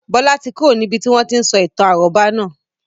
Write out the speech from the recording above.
Bọlá tí kúrò níbi tí wọn tí ń sọ ìtàn àrọ́bá naa